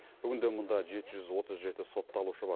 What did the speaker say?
бүгінде мұнда жеті жүз отыз жеті сотталушы бар